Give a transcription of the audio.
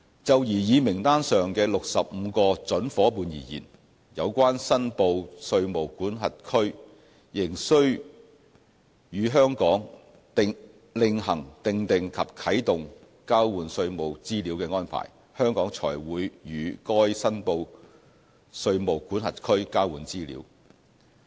就擬議名單上的65個準夥伴而言，有關申報稅務管轄區仍須與香港另行訂定及啟動交換稅務資料的安排，香港才會與該申報稅務管轄區交換資料。